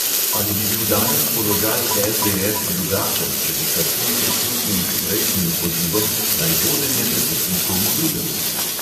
Ali bi bil danes položaj LDS drugačen, če bi kacin prisluhnil že prejšnjim pozivom, naj vodenje prepusti komu drugemu?